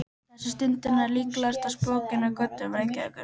Þessa stundina ertu líklega að spóka þig á götum Reykjavíkur.